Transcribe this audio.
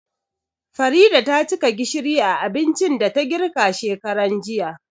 Farida tacika gishiri a abincin da ta girka shekaran jiya